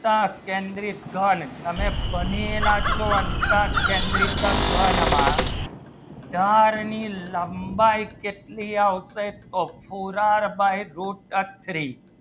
સ્તર કેન્દ્રીત ઘણ તમે બનેલા છો અંતર કેન્દ્રિત ઘણ માં બાર ની લંબાઈ કેટલી આવશે તો ફુલ્લર by root three